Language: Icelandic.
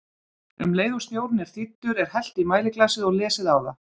Um leið og snjórinn er þíddur, er hellt í mæliglasið og lesið á það.